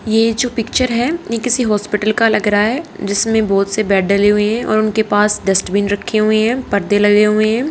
ये जो पिक्चर है ये किसी हॉस्पिटल का लग रहा है जिसमें बहुत से बेड डले हुए हैं और उनके पास डस्टबीन रखे हुए हैं पर्दे लगे हुए हैं।